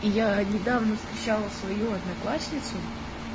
я недавно встречала свою одноклассницу